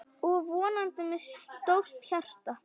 Og vonandi með stórt hjarta.